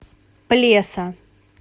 плеса